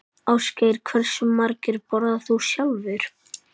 Ásgeir: Hversu margar borðarðu sjálfur?